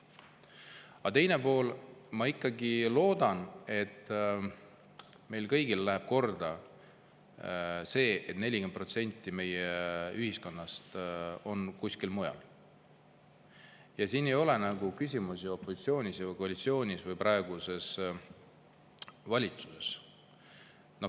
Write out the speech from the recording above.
Aga teine pool: ma ikkagi loodan, et meile kõigile läheb korda see, et 40% meie ühiskonnast on kuskil mujal, siin ei ole küsimus ju opositsioonis või koalitsioonis või praeguses valitsuses.